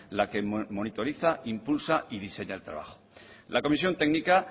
la que monitoriza impulsa y diseña el trabajo la comisión técnica